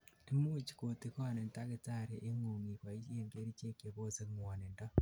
imuch kotigonin dakitaringung iboishen kerichek chebose ngwonindo